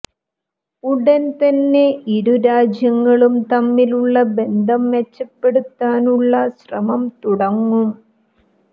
ഉടന് തന്നെ ഇരുരാജ്യങ്ങളും തമ്മിലുള്ള ബന്ധം മെച്ചപ്പെടുത്താനുള്ള ശ്രമം തുടങ്ങും